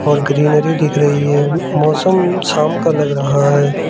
और ग्रीनरी देख रही है मौसम शाम का लग रहा है।